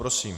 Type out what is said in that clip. Prosím.